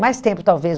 Mais tempo, talvez.